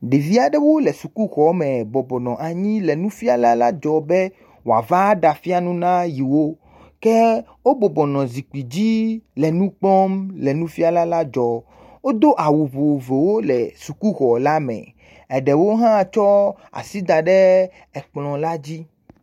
Ɖevi aɖewo le sukuxɔme bɔbɔnɔ anyi le nufiala la la dzɔm be wòava ɖafia nu na yewo, ke wo bɔbɔnɔ zikpui dzile nu kpɔm le nufiala la dzɔm, wodo awu vovovowo le sukuxɔ la me, eɖewo hã tsɔ asi da ɖe ekplɔ la dzi.